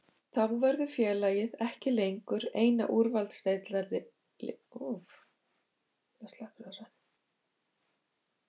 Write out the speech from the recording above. Þá verður félagið ekki lengur eina úrvalsdeildarliðið með engan leikmann úti á láni.